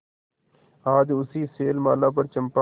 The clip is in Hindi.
आज उसी शैलमाला पर चंपा